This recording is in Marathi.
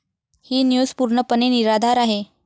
ही न्यूज पूर्णपणे निराधार आहे.